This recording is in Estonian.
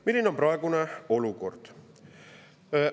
Milline on praegune olukord?